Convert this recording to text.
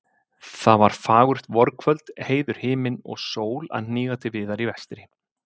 Það var fagurt vorkvöld, heiður himinn og sól að hníga til viðar í vestri.